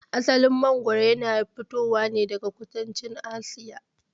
Asalin mangwaro ya fito ne daga kudancin Asiya.